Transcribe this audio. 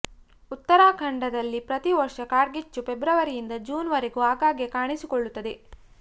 ಉತ್ತರಾಖಂಡದಲ್ಲಿ ಪ್ರತಿ ವರ್ಷ ಕಾಡ್ಗಿಚ್ಚು ಫೆಬ್ರವರಿಯಿಂದ ಜೂನ್ ವರೆಗೂ ಆಗಾಗ್ಗೆ ಕಾಣಿಸಿಕೊಳ್ಳುತ್ತದೆ